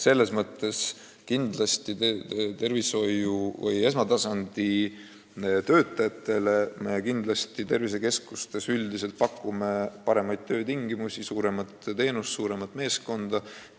Esmatasandi tervishoiu töötajatele tervisekeskustes üldiselt pakutakse paremaid töötingimusi, rohkem teenuseid, suuremat meeskonda.